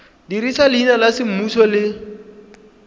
dirisa leina la semmuso le